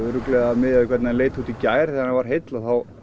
miðað við hvernig hann leit út í gær þegar hann var heill